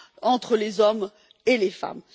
entre les hommes et les femmes.